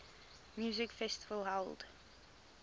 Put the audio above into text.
music festival held